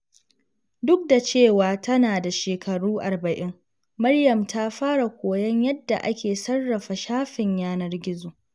Duk da cewa tana da shekaru arba’in, Maryam ta fara koyon yadda ake sarrafa shafin yanar gizo.